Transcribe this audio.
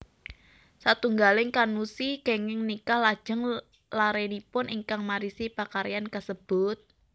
Satunggaling kannushi kenging nikah lajeng larenipun ingkang marisi pakaryan kasebut